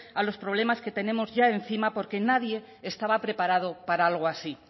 a los problemas que tenemos ya encima porque nadie estaba preparado para algo así